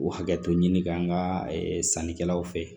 O hakɛ to ɲini ka sannikɛlaw fɛ